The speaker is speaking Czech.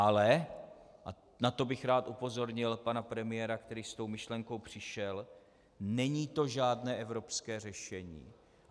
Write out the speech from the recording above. Ale - a na to bych rád upozornil pana premiéra, který s tou myšlenkou přišel - není to žádné evropské řešení.